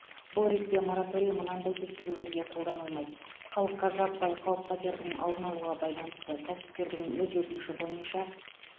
бұл ретте мораторий мынандай тексерулерге қолданылмайды халыққа жаппай қауіп қатердің алдын алуға байланысты кәсіпкердің өз өтініші бойынша